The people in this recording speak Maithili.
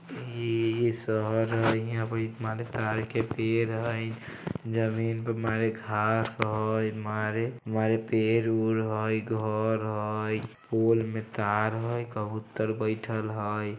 ये इस शहर यहां पे एक माने ताड़ के पेड़ है। जमीन पे मारे घांस हय। मारे-मारे पेड़-उर हय घर हय पोल में तार हय कबूतर बैठएल हय।